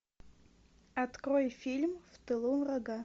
открой фильм в тылу врага